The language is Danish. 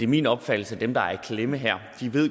min opfattelse at dem der er i klemme her